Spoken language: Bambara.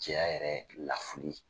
Cɛya yɛrɛ lafuli